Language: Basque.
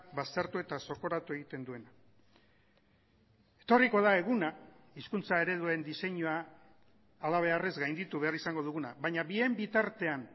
baztertu eta zokoratu egiten duena etorriko da eguna hizkuntza ereduen diseinua hala beharrez gainditu behar izango duguna baina bien bitartean